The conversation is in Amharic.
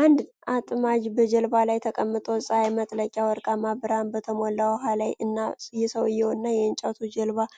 አንድ አጥማጅ በጀልባ ላይ ተቀምጦ፣ ፀሐይ መጥለቂያ ወርቃማ ብርሃን በተሞላ ውሃ ላይ እና፣ የሰውየው እና የእንጨት ጀልባው